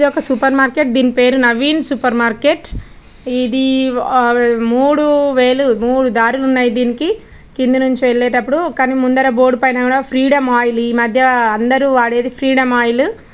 ఇది ఒక super market దీని పేరు నవీన్ సూపర్ మార్కెట్. ఇది ఆ మూడు వేలు మూడు దారులు ఉన్నాయి దీనికి కింది నుంచి వెళ్లేటప్పుడు కానీ ముందర బోర్డ్ పైన ఫ్రీడమ్ ఆయిల్ ఈమధ్య అందరూ వాడేది ఫ్రీడమ్ ఆయిల్.